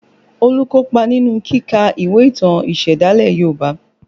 Olu kopa nínú kíka ìwé ìtàn ìsẹ̀dálẹ̀ Yoruba